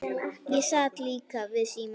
Ég sat líka við símann.